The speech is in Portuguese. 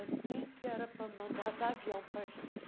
Assim que era para mandar dar avião para a gente.